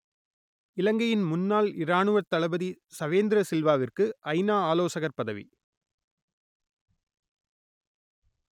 இலங்கையின் முன்னாள் இராணுவத் தளபதி சவேந்திர சில்வாவிற்கு ஐநா ஆலோசகர் பதவி